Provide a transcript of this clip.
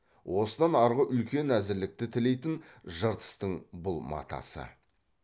осыдан арғы үлкен әзірлікті тілейтін жыртыстың бұл матасы